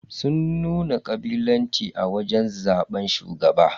Sun nuna kabilanci a wajen zaban shugaba.